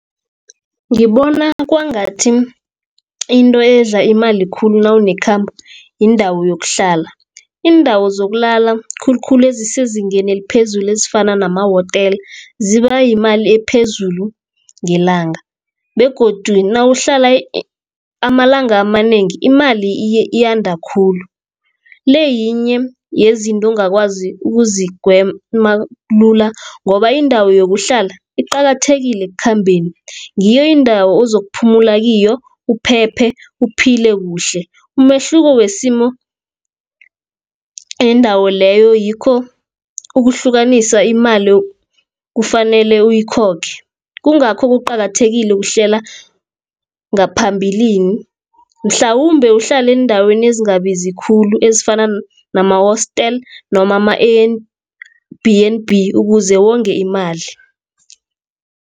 Ngibona kwangathi, into edla imali khulu nawunekhambo, yindawo yokuhlala. Iindawo zokulala khulukhulu ezisezingeni eliphezulu, ezifana namahotela ziba yimali ephezulu ngelanga, begodu nawuhlala amalanga amanengi imali iyanda khulu. Le yinye yezinto ongakwazi ukuzigwema lula ngoba indawo yokuhlala iqakathekile ekukhambeni, ngiyo indawo ozokuphula kiyo, uphephe, uphile kuhle. Umehluko wesimo yendawo leyo yikho ukuhlukanisa imali kufanele uyikhokhe, kungakho kuqakathekile ukuhlela ngaphambilini, mhlawumbe uhlale eendaweni ezingabizi khulu, ezifana namahostel noma ama-B and B ukuze wonge imali.